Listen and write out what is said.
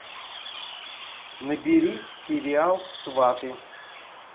набери сериал сваты